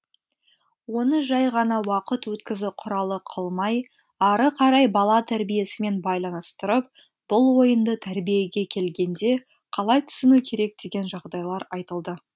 оны жай ғана уақыт өткізу құралы қылмай ары қарай бала тәрбиесімен байланыстырып бұл ойынды тәрбиеге келгенде қалай түсіну керек деген жағдайлар айтылды